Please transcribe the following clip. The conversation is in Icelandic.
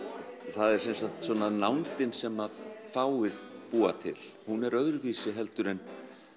það er sem sagt svona nándin sem fáir búa til hún er öðruvísi en